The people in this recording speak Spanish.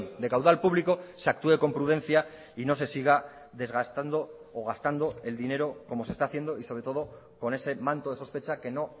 de caudal público se actúe con prudencia y no se siga desgastando o gastando el dinero como se está haciendo y sobre todo con ese manto de sospecha que no